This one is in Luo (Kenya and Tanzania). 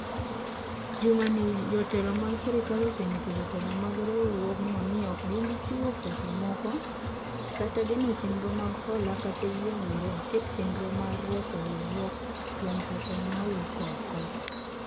Juma ni jotelo mag sirkal osenyiso jotelo mag riwruogno ni ok gibi chiwo pesa moko, kata geno chendro mag hola kata yie mondo oket chendro mar reso riwruok kuom pesa ma wuok oko.